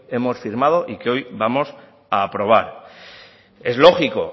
hemos firmado y que hoy vamos a aprobar es lógico